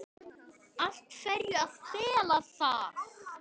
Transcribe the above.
Af hverju að fela það?